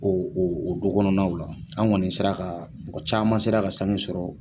O o du kɔnɔnaw la an kɔni sera ka mɔgɔ caman sera ka sange sɔrɔ